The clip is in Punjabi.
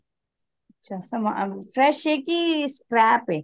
ਅੱਛਾ fresh ਏ ਕਿ scrap ਏ